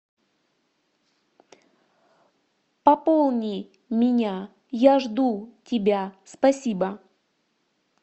пополни меня я жду тебя спасибо